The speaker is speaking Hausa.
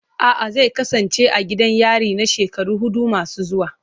A'a, zai kasance a gidan yari na shekaru hudu masu zuwa.